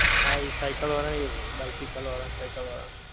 હા એ cycle વાળાં ને એવું થાય bicycle વાળાં અને cycle વાળાં.